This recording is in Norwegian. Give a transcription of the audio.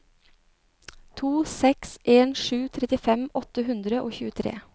to seks en sju trettifem åtte hundre og tjuetre